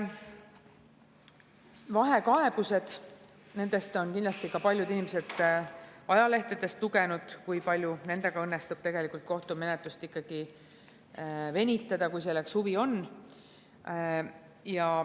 Vahekaebused – kindlasti on paljud inimesed ajalehtedest lugenud, kui palju nendega õnnestub kohtumenetlust venitada, kui selleks huvi on.